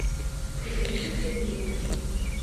ирине сергеевне